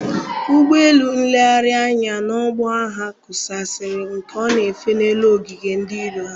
Ụgbọ élú nlegharị anya n'ọgbọ agha kusaasịrị ka ọ na-efe n'elu ogige ndị iro ha.